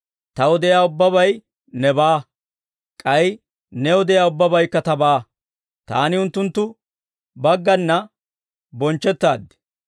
Taw de'iyaa ubbabay nebaa; k'ay New de'iyaa ubbabaykka Tabaa. Taani unttunttu baggana bonchchettaaddi.